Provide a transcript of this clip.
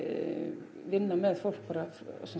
vinna með fólk bara